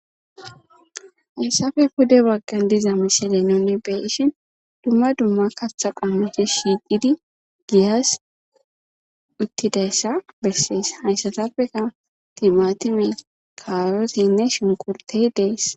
Hayssapoe pude baggan diza misile nuni be'ishin dumma dumma kaththa qommoti shiiqidi giyas uttidayssa besses. Hayssatappekka timatime, kaaroteynne shunkurtey dees.